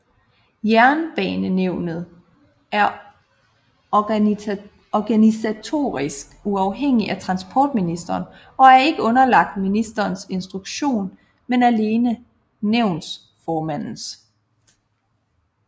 Jernbanenævnet er organisatorisk uafhængigt af transportministeren og er ikke underlagt ministerens instruktion men alene nævnsformandens